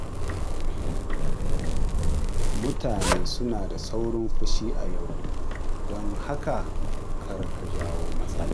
Mutane suna da saurin fushi a yau, don haka, kar ka jawo matsala.